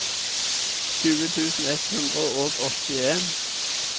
tjue tusen ett hundre og åttien